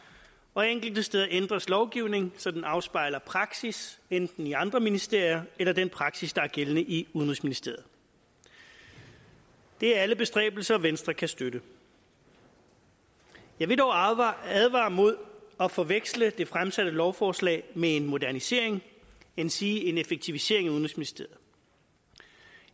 og enkelte steder ændres lovgivning så den afspejler praksis enten i andre ministerier eller den praksis der er gældende i udenrigsministeriet det er alle bestræbelser venstre kan støtte jeg vil dog advare mod at forveksle det fremsatte lovforslag med en modernisering endsige en effektivisering af udenrigsministeriet